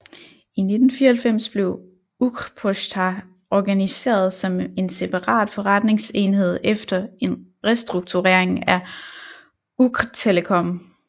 I 1994 blev Ukrposhta organiseret som en separat forretningsenhed efter en restrukturering af Ukrtelecom